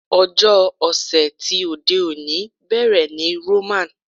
Ọjọ́ ọ̀sẹ̀ ti òde òní bẹ̀rẹ̀ ní Roman.